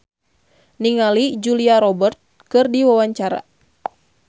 Meisya Siregar olohok ningali Julia Robert keur diwawancara